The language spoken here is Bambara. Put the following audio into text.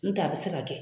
N tɛ a bɛ se ka kɛ